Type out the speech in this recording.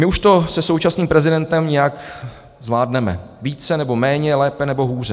My už to se současným prezidentem nějak zvládneme, více, nebo méně, lépe, nebo hůře.